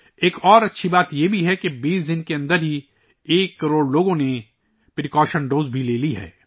ایک اور اچھی بات یہ ہے کہ 20 دنوں کے اندر ایک کروڑ لوگوں نے احتیاطی خوراک بھی لی ہے